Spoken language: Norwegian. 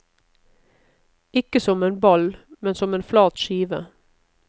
Ikke som en ball, men som en flat skive.